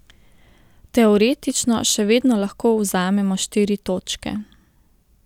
Teoretično še vedno lahko vzamemo štiri točke.